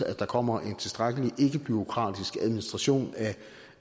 at der kommer en tilstrækkelig ikkebureaukratisk administration